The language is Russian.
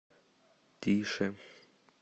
тише